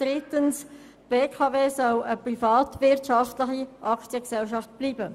Drittens soll die BKW eine private Aktiengesellschaft bleiben.